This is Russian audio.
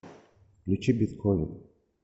включи бетховен